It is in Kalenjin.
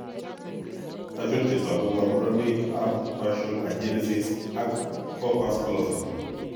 Achon chetogu ak kaborunoik ab partial agenesis ab corpus callosun?